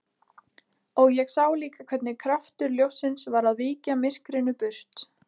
Og ég sá líka hvernig kraftur ljóssins var að víkja myrkrinu burt.